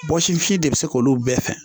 Bɔsifini de bɛ se k'olu bɛɛ fɛ